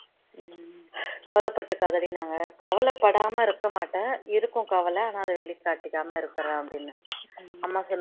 கவலை பட்டுகாதடின்னாங்க கவலை படாம இருக்க மாட்டேன் இருக்கும் கவலை ஆனா அதை வெளிகாட்டிக்காம இருக்கிறேன் அப்படின்ன அம்மா